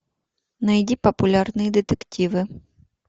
найди популярные детективы